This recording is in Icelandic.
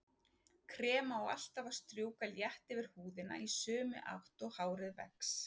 Krem á alltaf að strjúka létt yfir húðina í sömu átt og hárið vex.